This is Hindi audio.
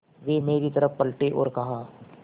वे मेरी तरफ़ पलटे और कहा